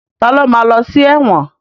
Ta ló ma lọ sí ẹ̀wọ̀n?